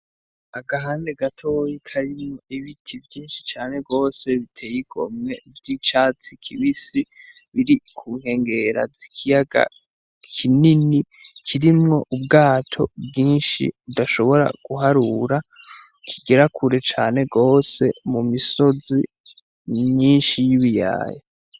Agahande gato karimwo ibiti vyinshi cane gose biteye igomwe vy'icatsi kibisi biri kunkengera z'ikiyaga kinini kirimwo ubwato bwinshi tudashobora guharura kigera kure cane gose mu misozi myinshi n'ibiyaya.